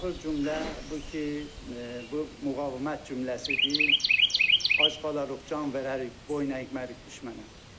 Axır cümlə bu ki, bu müqavimət cümləsidir, ac qalaq, çox can verərik, boynəymərik biz.